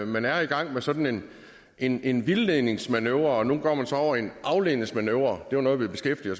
man er i gang med sådan en en vildledningsmanøvre og nu går man så over til en afledningsmanøvre det var noget vi beskæftigede